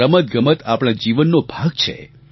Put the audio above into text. રમતગમત આપણા જીવનનો ભાગ છે